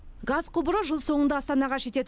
газ құбыры жыл соңында астанаға жетеді